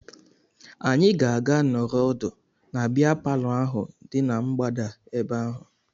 Anyị ga-aga nọrọ ọdụ na bịa palọ ahụ dị na mgbada ebe ahụ